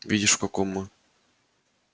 видишь в каком мы положении